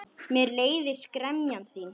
Mér leiðist gremja þín.